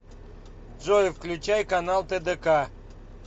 джой включай канал тдк